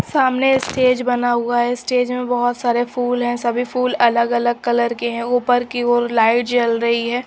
सामने स्टेज बना हुआ है स्टेज में बहुत सारे फूल हैं सभी फूल अलग अलग कलर के हैं ऊपर की ओर लाइट जल रही है।